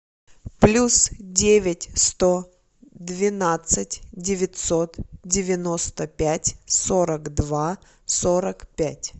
плюс девять сто двенадцать девятьсот девяносто пять сорок два сорок пять